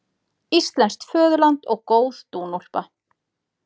Íslenskt föðurland og góð dúnúlpa